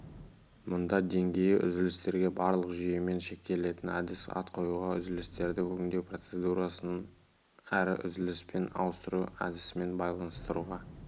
мұнда деңгейі үзілістерге барлық жүйемен шектелетін әдіспен ат қоюға үзілістерді өңдеу процедурасын әрі үзіліспен ауыстыру әдісімен байланыстыруға